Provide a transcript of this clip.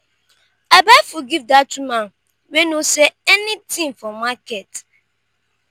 i buy food give dat woman wey no sell anytin for market.